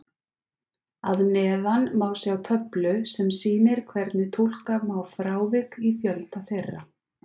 Að neðan má sjá töflu sem sýnir hvernig túlka má frávik í fjölda þeirra.